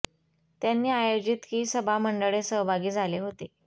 त्यांनी आयोजित की सभा मंडळे सहभागी झाले होते